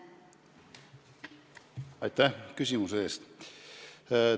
Aitäh küsimuse eest!